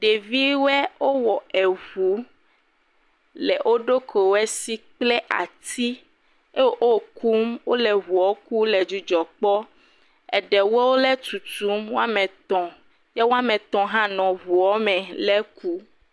Ɖeviwɔe wowɔ eŋu. Le wo ɖokuiɖwɔɛsi kple ati. E o kum. Wole ŋuɔ kum le dzidzɔ kpɔ. Eɖe wole tutum woame tɔ̃. Ye wame tɔ̃ hã le ŋuɔ me le kum.